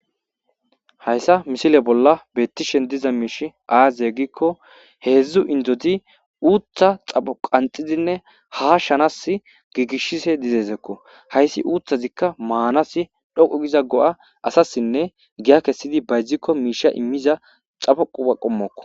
Hayssa misile bolla beettishen diza miish aazye ggikko heedzdzu indoti uuttha xapo qanxizinne ha shanas giigishise dizeezekko hayssi uuthazikka maanasi dhoqu giza go7a asassinne giya kessidi bayzdzikko miisha immiza xafo quba qommokko.